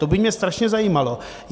To by mě strašně zajímalo.